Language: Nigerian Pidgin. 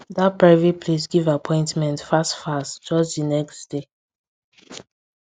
that private place give appointment fast fast just the next day